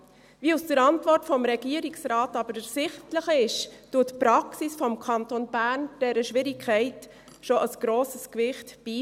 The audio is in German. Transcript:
Wie aus der Antwort des Regierungsrates aber ersichtlich ist, misst die Praxis des Kantons Bern dieser Schwierigkeit schon ein grosses Gewicht bei.